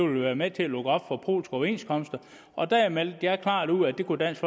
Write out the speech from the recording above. ville være med til at lukke op for polske overenskomster og der meldte jeg klart ud at det kunne dansk